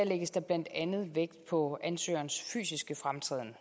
lægges der blandt andet vægt på ansøgerens fysiske fremtræden